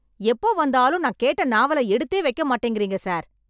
எப்போ வந்தாலும் நான் கேட்ட நாவல எடுத்தே வைக்க மாட்டேங்கிறீங்க சார்